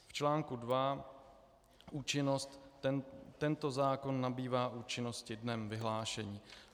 V článku II Účinnost: Tento zákon nabývá účinnosti dnem vyhlášení.